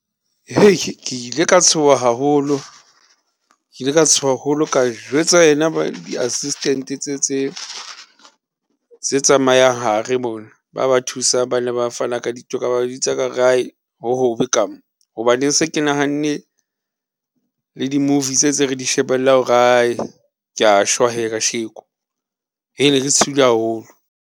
Hei! ke ile ka tshoha haholo, ke ile ka tshoha haholo ka jwetsa ena di-assistente tse tse tsamayang hare mona ba ba thusang, ba ne ba thusa ba fana ka dintho ka ba bitsa ka re hohobe ka mo hoba ne se ke nahanne le di movie tse tse re di shebellang hore hai ke a shwa he kasheko. Hee! ne ke tshohile haholo.